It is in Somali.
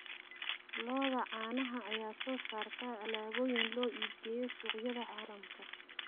Lo'da caanaha ayaa soo saarta alaabooyin loo iibgeeyo suuqyada caalamka.